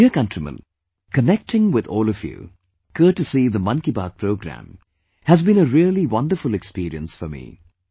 My dear countrymen, connecting with all of you, courtesy the 'Mann KiBaat' program has been a really wonderful experience for me